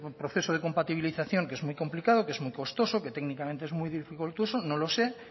proceso de compatibilización que es muy complicado que es muy costoso que técnicamente es muy dificultoso no lo sé